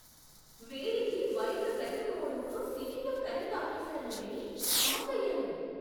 వేడికి వైర్లు కరిగిపోవడంతో సిటీలో కరెంటు ఆపేసారని విని షాకయ్యాను!